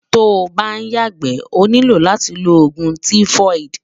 tó ǹ bá yaàgbé, ó nílò látí ló ògún tífóídí